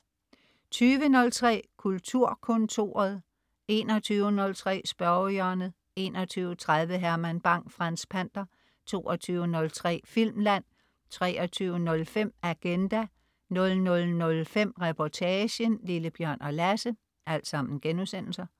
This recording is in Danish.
20.03 Kulturkontoret* 21.03 Spørgehjørnet* 21.30 Herman Bang: Franz Pander* 22.03 Filmland* 23.05 Agenda* 00.05 Reportagen: Lille-Bjørn og Lasse*